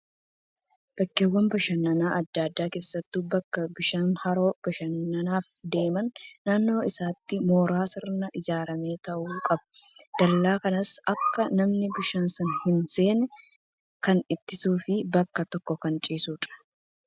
Bakkeewwan bashannanaa adda addaa keessattuu bakka bishaan haroo bashannanaaf deeman naannoo isaatti mooraan sirnaan ijaaramee taa'uu qaba. Dallaa kanas akka namni bishaan sana hin seenne kan ittisuu fi bakka tokko kan ciisudha.